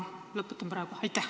Sellega ma praegu lõpetan.